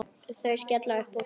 Þau skella upp úr.